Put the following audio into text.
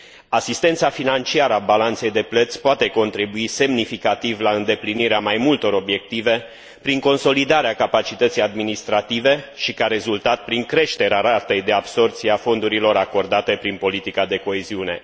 Asistența financiară a balanței de plăți poate contribui semnificativ la îndeplinirea mai multor obiective, prin consolidarea capacității administrative, și, ca rezultat, prin creșterea ratei de absorbție a fondurilor acordate prin politica de coeziune.